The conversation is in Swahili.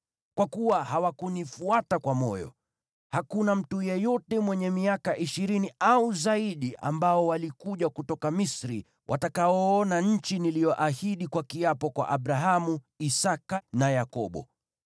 ‘Kwa kuwa hawakunifuata kwa moyo wote, hakuna mtu yeyote mwenye miaka ishirini au zaidi ambaye alikuja kutoka Misri atakayeona nchi niliyoahidi kwa kiapo kwa Abrahamu, Isaki na Yakobo;